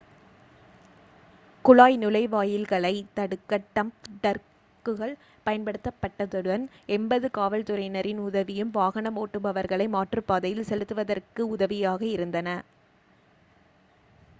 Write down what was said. குழாய் நுழைவாயில்களைத் தடுக்க டம்ப் ட்ரக்குகள் பயன்படுத்தப்பட்டதுடன் 80 காவல்துறையினரின் உதவியும் வாகனம் ஓட்டுபவர்களை மாற்றுப்பாதையில் செலுத்துவதற்கு உதவியாக இருந்தன